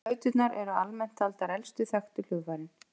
Flauturnar eru almennt taldar elstu þekktu hljóðfærin.